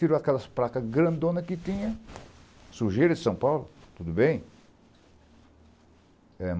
Tirou aquelas placas grandonas que tinha, sujeira de São Paulo, tudo bem.